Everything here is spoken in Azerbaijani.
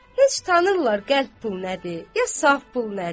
Heç tanırlar qəlp pul nədir, ya saf pul nədir?